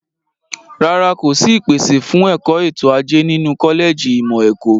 Rárá, kò sí ìpèsè fún ẹ̀kọ́ ètò ajé nínú kọ́lẹ̀jì ìmọ̀ ẹ̀kọ́.